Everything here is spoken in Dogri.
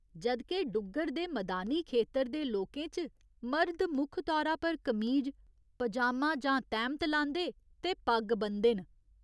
जद् के डुग्गर दे मदानी खेतर दे लोकें च मर्द मुक्ख तौरा पर कमीज, पजामा जां तैह्‌मत लांदे ते पग्ग ब'नदे न।